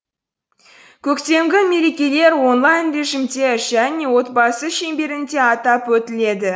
көктемгі мерекелер онлайн режимде және отбасы шеңберінде атап өтіледі